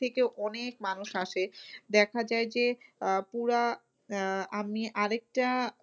থেকে অনেক মানুষ আসে দেখা যায় যে, আহ পুরা আহ আমি আরেকটা